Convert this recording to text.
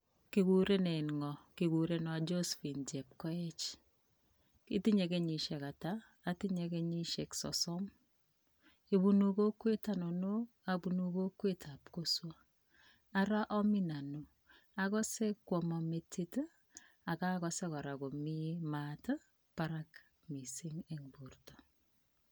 Kikuren ng'oo, kikurenon Josphin chepkoech, itinye kenyishek ataa, otinye kenyishek sosom, ibunu kokwet ainon, abunu kokwetab kosob, araa omin anoo, akose kwomon merit ak okose kora komii maat barak.